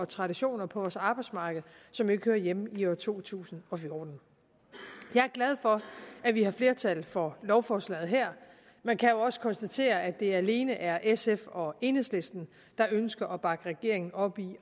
traditioner på vores arbejdsmarked som ikke hører hjemme i år to tusind og fjorten jeg er glad for at vi har flertal for lovforslaget her men kan jo også konstatere at det alene er sf og enhedslisten der ønsker at bakke regeringen op i